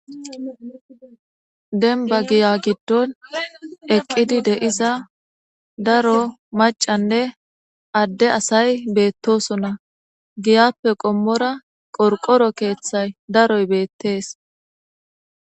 denba giya giddon eqqidi de7iza daro macanne adde asay beettosona giyappe qommora qorqoro keeththay daroy beettees